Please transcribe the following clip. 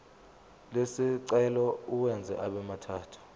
lesicelo uwenze abemathathu